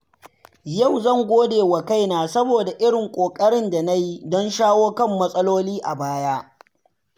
Yau zan gode wa kaina saboda irin ƙoƙarin da na yi don shawo kan matsaloli a baya.